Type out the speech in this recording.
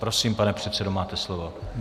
Prosím, pane předsedo, máte slovo.